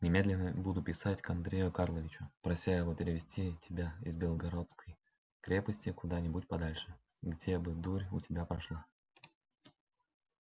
немедленно буду писать к андрею карловичу прося его перевести тебя из белогорской крепости куда-нибудь подальше где бы дурь у тебя прошла